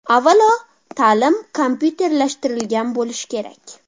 Avvalo, ta’lim kompyuterlashtirilgan bo‘lishi kerak.